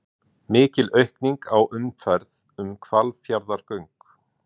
Mikil aukning á umferð um Hvalfjarðargöng